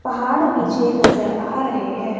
पहाड़ पीछे नजर आ रहे हैं।